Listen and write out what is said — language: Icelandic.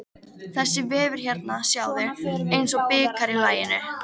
Þessi vefur hérna sjáðu, eins og bikar í laginu.